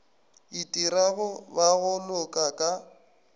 itirago ba go loka ka